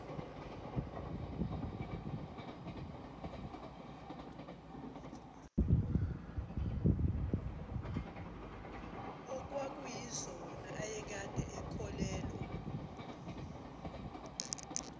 okwakuyizona ayekade ekholelwa